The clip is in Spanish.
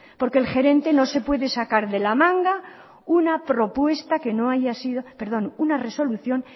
porque el gerente no se puede sacar de la manga una resolución